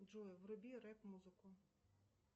джой вруби рэп музыку